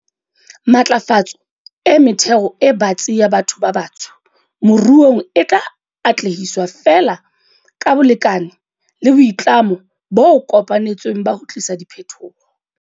Matlafatso e metheo e batsi ya batho ba batsho moruong e tla atlehiswa feela ka bolekane le boitlamo bo kopanetsweng ba ho tlisa diphetoho.